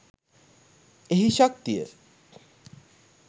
එහි ශක්තිය